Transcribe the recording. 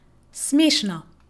Smešno?